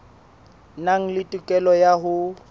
nang le tokelo ya ho